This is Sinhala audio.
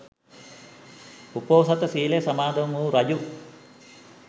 උපෝසථ සීලය සමාදන් වු රජු